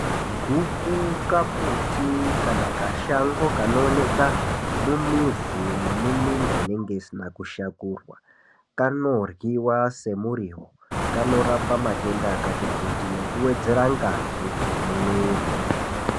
Guku kambuti kunoonekwa mumiz kana muminda munenge musina kushakurwa kanirwiwa semuriwo kanorapwa matenda akati kuti nekuwedzera ngazi mumwiri.